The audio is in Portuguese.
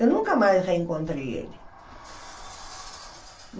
Eu nunca mais reencontrei ele.